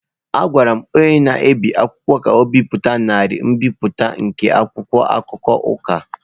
Agwara m onye na-ebi akwụkwọ ka o bipụta narị mbipụta nke akwụkwọ akụkọ Ụka.